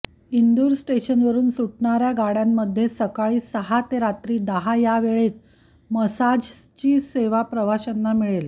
इंदूर स्टेशनवरून सुटणाऱ्या गाड्यांमध्ये सकाळी सहा ते रात्री दहा या वेळात मसाजची सेवा प्रवाशांना मिळेल